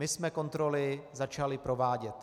My jsme kontroly začali provádět.